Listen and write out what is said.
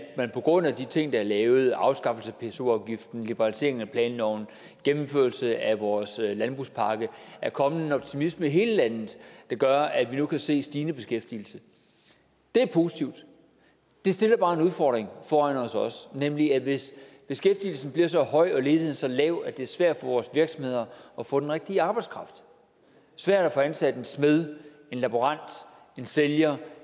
på grund af de ting der er lavet afskaffelse af pso afgiften liberalisering af planloven gennemførelse af vores landbrugspakke kommet en optimisme i hele landet der gør at vi nu kan se stigende beskæftigelse det er positivt det stiller bare også en udfordring foran os os nemlig at hvis beskæftigelsen bliver så høj og ledigheden så lav at det er svært for vores virksomheder at få den rigtige arbejdskraft svært at få ansat en smed en laborant en sælger